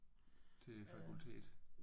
Til fakultetet?